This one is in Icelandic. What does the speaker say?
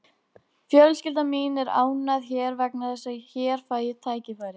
Fjölskylda mín er ánægð hér vegna þess að hér fæ ég tækifæri.